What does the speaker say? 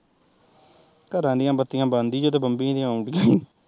ਘਰ ਦੀਆ ਬੱਤੀਆ ਬੰਦ ਈ ਜਦੋਂ